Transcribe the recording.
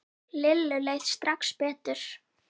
Lillu leið strax betur.